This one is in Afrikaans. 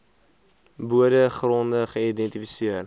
bode gronde geïdentifiseer